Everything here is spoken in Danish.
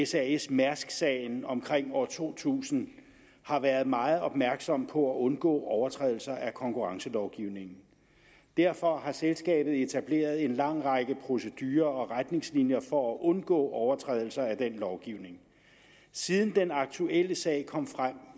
sasmærsk sagen omkring år to tusind har været meget opmærksom på at undgå overtrædelser af konkurrencelovgivningen derfor har selskabet etableret en lang række procedurer og retningslinjer for at undgå overtrædelser af den lovgivning siden den aktuelle sag kom frem